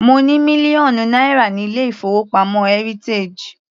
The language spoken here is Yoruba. Mo ní mílíọ̀nù náírà ní ilé-ìfowópamọ́ heritage.